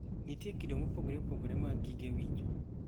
Nitie kido mopogore opogore mag gige winjo.